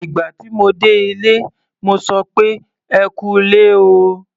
Ìgbà tí mo dé ilé, mo sọ pé "ẹ kú ilé o".